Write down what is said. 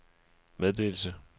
meddelelse